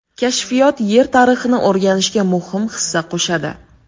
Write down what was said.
Kashfiyot Yer tarixini o‘rganishga muhim hissa qo‘shadi.